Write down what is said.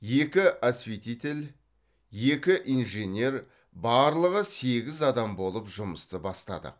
екі осветитель екі инженер барлығы сегіз адам болып жұмысты бастадық